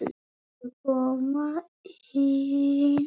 Viltu koma inn?